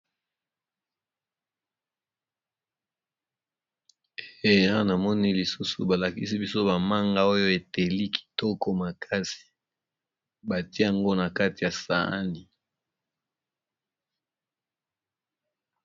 Awa namoni lisusu balakisi biso bamanga oyo eteli kitoko makasi batiango na kati ya saani